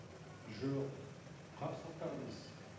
жоқ қарсылықтарыңыз